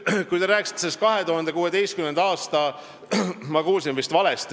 Kui te rääkisite 2016. aastast, siis te ütlesite "maksukaos".